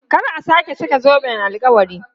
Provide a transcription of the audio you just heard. Kar a sake saka zoben alkawari!